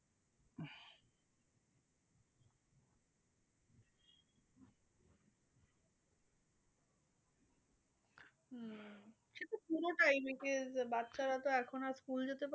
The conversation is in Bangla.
সেতো পুরোটাই which is বাচ্চারা তো এখন আর school যেতে